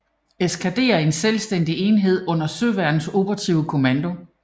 Eskadre en selvstændig enhed under Søværnets Operative Kommando